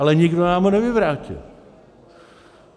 Ale nikdo nám ho nevyvrátil.